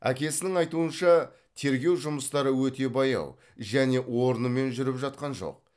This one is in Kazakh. әкесінің айтуынша тергеу жұмыстары өте баяу және орнымен жүріп жатқан жоқ